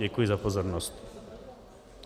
Děkuji za pozornost.